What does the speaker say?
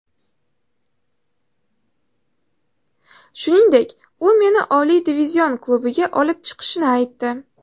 Shuningdek, u meni oliy divizion klubiga olib chiqishini aytdi.